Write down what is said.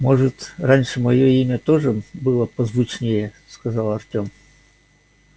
может раньше моё имя тоже было позвучнее сказал артём